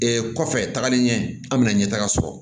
kɔfɛ tagali ɲɛ an bɛna ɲɛtaga sɔrɔ